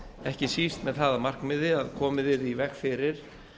ekki síst með það að markmiði að komið yrði í veg fyrir